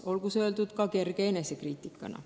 Olgu see öeldud ka kerge enesekriitikana.